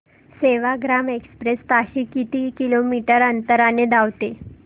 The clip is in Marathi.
सेवाग्राम एक्सप्रेस ताशी किती किलोमीटर अंतराने धावते